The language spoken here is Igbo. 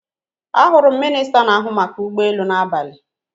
Ahụrụ m minista n'ahụ maka ụgbọelu n'abalị.